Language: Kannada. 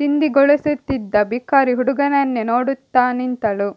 ಚಿಂದಿಗೊಳಿಸುತ್ತಿದ್ದ ಭಿಕಾರಿ ಹುಡುಗನನ್ನೇ ನೋಡುತ್ತ ನಿಂತಳು